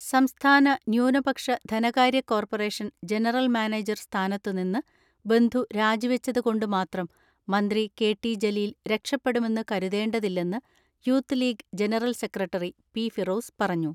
സംസ്ഥാന ന്യൂനപക്ഷ ധനകാര്യ കോർപറേഷൻ ജനറൽ മാനേജർ സ്ഥാനത്ത് നിന്ന് ബന്ധു രാജിവെച്ചത് കൊണ്ട് മാത്രം മന്ത്രി കെ ടി ജലീൽ രക്ഷപ്പെടുമെന്ന് കരുതേണ്ടതില്ലെന്ന് youth league general secretary P Firoz പറഞ്ഞു.